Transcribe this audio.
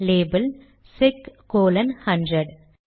label check colon 100